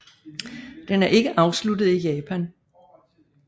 Den er ikke afsluttet i Japan